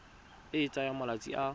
e e tsayang malatsi a